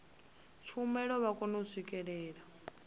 tshumelo vha kone u swikelela